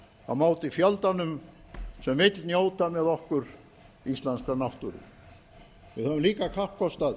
á móti fjöldanum sem vill njóta með okkur íslenskrar náttúru við höfum líka kappkostað